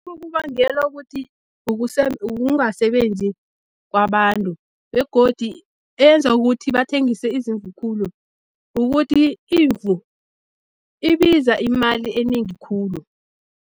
kubangelwa kuthi ukungasebenzi kwabantu begodi eyenza ukuthi bathengise izimvu khulu, ukuthi imvu ibiza imali enengi khulu.